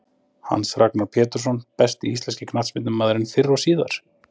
Hans Ragnar Pjetursson Besti íslenski knattspyrnumaðurinn fyrr og síðar?